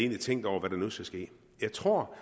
tænkt over hvad der nu skal ske jeg tror